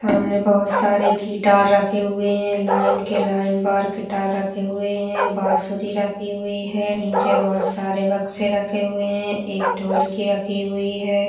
सामने बहुत सारे गिटार रखे हुए हैं लाइन के लाइन बाहर गिटार रखे हुए हैं बाँसुरी रखी हुई है नीचे बहुत सारे बक्सें रखे हुए हैं एक ढोलकी रखी हुई है।